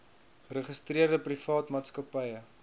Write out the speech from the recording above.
geregistreerde privaat maatskappye